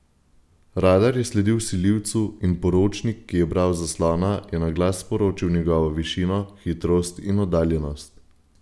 Radar je sledil vsiljivcu in poročnik, ki je bral z zaslona, je na glas sporočil njegovo višino, hitrost in oddaljenost.